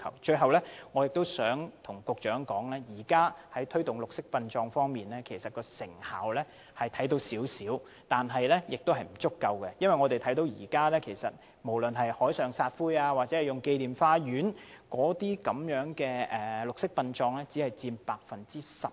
最後，我想告訴局長，雖然當局在推動綠色殯葬方面的工作已見一點成效，但仍然不足夠，因為現時採用海上或紀念花園撒灰的綠色殯葬只佔約 10%。